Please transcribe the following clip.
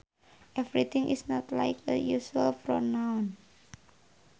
Everything is not like a usual pronoun